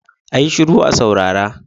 A yi shiru a saurara!